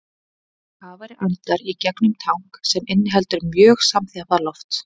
Kafari andar í gegnum tank sem inniheldur mjög samanþjappað loft.